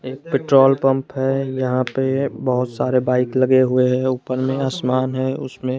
एक petrol pump है यहां पे बहोत सारे बाइक लगे हुए हैं ऊपर में आसमान है उसमें--